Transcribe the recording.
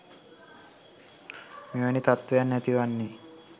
මෙවැනි තත්ව‍යන් ඇතිවන්නේ